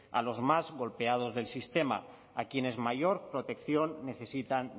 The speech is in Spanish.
a los más golpeados del sistema a quienes mayor protección necesitan